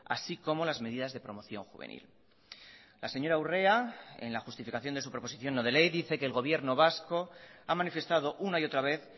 así como las medidas de promoción juvenil la señora urrea en la justificación de su proposición no de ley dice que el gobierno vasco ha manifestado una y otra vez